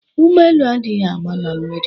Ụgbọ elu adịghị agba na mmiri.